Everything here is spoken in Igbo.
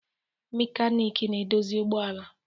Mekanik na-edozi ụgbọala